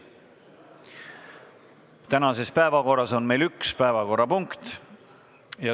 Tänases päevakorras on meil üks päevakorrapunkt.